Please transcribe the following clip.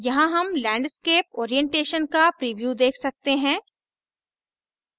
यहाँ हम landscape orientation का प्रीव्यू देख सकते हैं